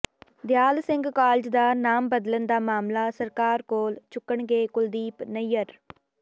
ਦਿਆਲ Singh college ਦਾ ਨਾਮ ਬਦਲਣ ਦਾ ਮਾਮਲਾ ਸਰਕਾਰ ਕੋਲ ਚੁੱਕਣਗੇ ਕੁਲਦੀਪ ਨਈਅਰ